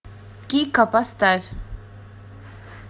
кико поставь